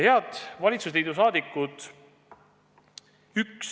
Head valitsusliidu liikmed!